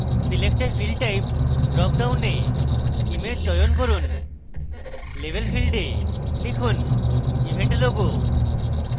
select a field type drop ডাউনে image চয়ন করুন label field a লিখুন event logo